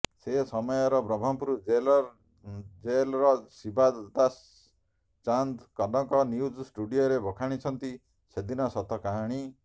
ସେ ସମୟର ବ୍ରହ୍ମପୁର ଜେଲର ଜେଲର ଶିବଦାସ ଚାନ୍ଦ କନକ ନ୍ୟୁଜ ଷ୍ଟୁଡିଓରେ ବଖାଣିଛନ୍ତି ସେଦିନର ସତ କାହାଣୀ